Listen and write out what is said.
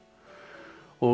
og